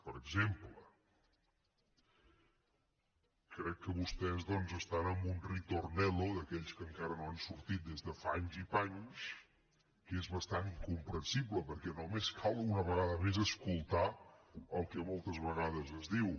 per exemple crec que vostès doncs estan en un ritornello d’aquells que encara no han sortit des de fa anys i panys que és bastant incomprensible perquè només cal una vegada més escoltar el que moltes vegades es diu